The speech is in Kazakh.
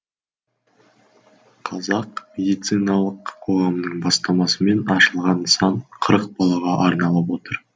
қазақ медициналық қоғамының бастамасымен ашылған нысан қырық балаға арналып отыр